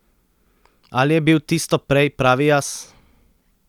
Ali je bil tisto prej pravi jaz?